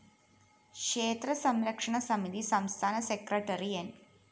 ക്ഷേത്രസംരക്ഷണസമിതി സംസ്ഥാന സെക്രട്ടറി ന്‌